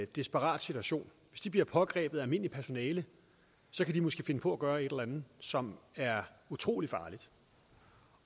desperat situation bliver pågrebet af almindeligt personale så kan de måske finde på at gøre et eller andet som er utrolig farligt